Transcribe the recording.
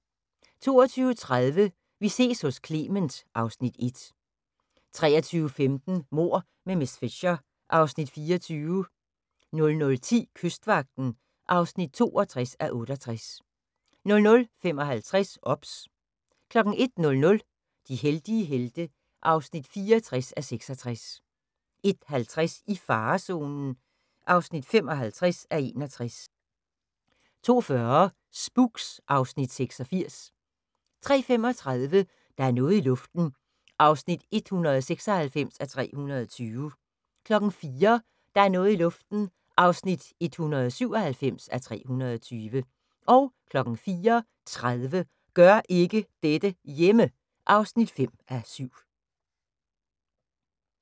22:30: Vi ses hos Clement (Afs. 1) 23:15: Mord med miss Fisher (Afs. 24) 00:10: Kystvagten (62:68) 00:55: OBS 01:00: De heldige helte (64:66) 01:50: I farezonen (55:61) 02:40: Spooks (Afs. 86) 03:35: Der er noget i luften (196:320) 04:00: Der er noget i luften (197:320) 04:30: Gør ikke dette hjemme! (5:7)